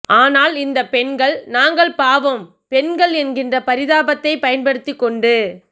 ஆனால் இந்த பெண்கள் நாங்கள் பாவம் பெண்கள் என்கிற பரிதாபத்தை பயன்படுத்தி கொண்டு